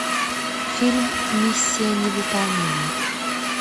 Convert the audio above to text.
фильм миссия невыполнима